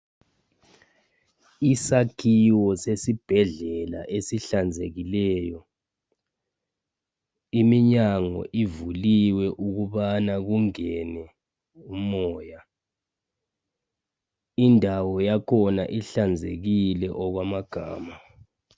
Isakhiwo sesibhedlela esihlanzekileyo, iminyango ivuliwe ukubana kungene umoya .Indawo yakhona ihlanzekile okwamagama.